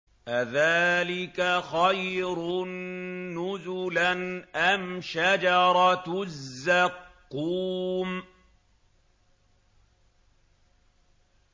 أَذَٰلِكَ خَيْرٌ نُّزُلًا أَمْ شَجَرَةُ الزَّقُّومِ